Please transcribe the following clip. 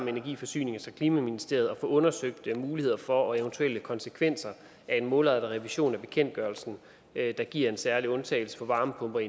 af energi forsynings og klimaministeriet undersøge muligheden for og eventuelle konsekvenser af en målrettet revision af bekendtgørelsen der giver en særlig undtagelse for varmepumper